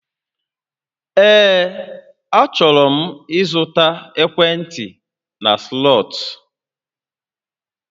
Ee, achọrọ m ịzụta ekwentị na Slọt